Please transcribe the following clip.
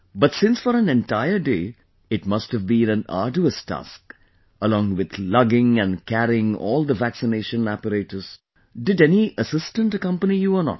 But since for an entire day, it must have been an arduous task...along with lugging and carrying all the vaccination apparatus...did any assistant accompany you or not